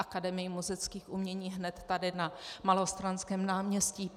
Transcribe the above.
Akademie múzických umění hned tady na Malostranském náměstí.